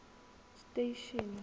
station